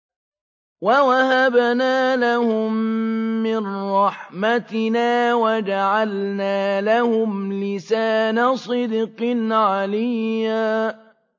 وَوَهَبْنَا لَهُم مِّن رَّحْمَتِنَا وَجَعَلْنَا لَهُمْ لِسَانَ صِدْقٍ عَلِيًّا